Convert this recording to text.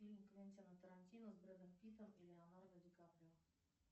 фильм квентина тарантино с брэдом питтом и леонардо ди каприо